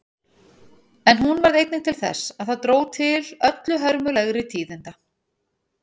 En hún varð einnig til þess að það dró til öllu hörmulegri tíðinda.